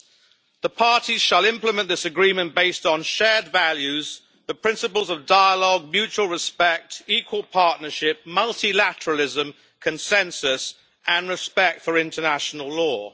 The first reads, The Parties shall implement this Agreement based on shared values, the principles of dialogue, mutual respect, equal partnership, multilateralism, consensus and respect for international law.'